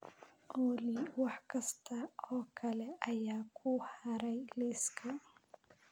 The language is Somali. olly wax kasta oo kale ayaa ku haray liiska